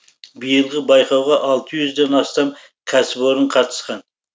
биылғы байқауға алты жүзден астам кәсіпорын қатысқан